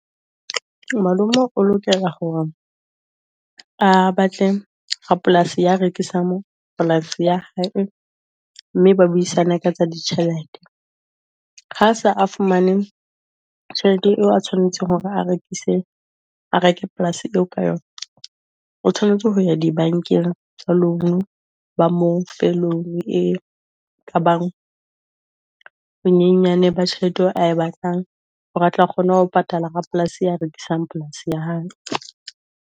Malomo o lokela ho a batle rapolasi ya rekisang polasi ya hae mme ba buisana ka tsa ditjhelete, ha sa a fumane tjhelete eo a tshwanetseng hore a rekise a reke polasi eo ka yona o tshwanetse ho ya dibankeng tsa loan. Ba mo fe loan ekabang bonyenyane ba tjhelete eo a e batlang hore a tla kgona ho patala rapolasi ya rekisang polasi ya hae.